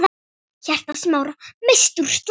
Hjarta Smára missti úr slag.